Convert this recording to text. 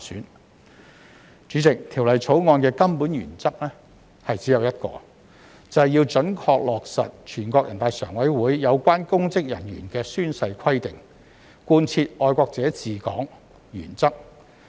代理主席，《條例草案》的根本原則只有一個，便是要準確落實全國人大常委會有關公職人員的宣誓規定，貫徹愛國者治港原則。